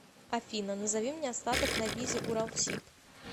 афина назови мне остаток на визе уралсиб